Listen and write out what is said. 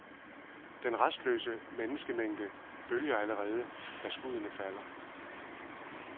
Den rastløse menneskemængde bølger allerede, da skuddene falder.